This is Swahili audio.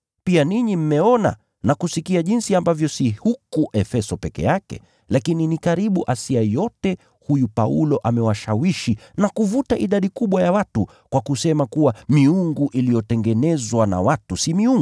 Pia ninyi mmeona na kusikia jinsi ambavyo si huku Efeso peke yake lakini ni karibu Asia yote, huyu Paulo amewashawishi na kuvuta idadi kubwa ya watu kwa kusema kuwa miungu iliyotengenezwa na watu si miungu.